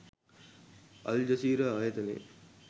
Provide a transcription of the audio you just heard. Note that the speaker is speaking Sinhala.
අල් ජසීරා ආයතනය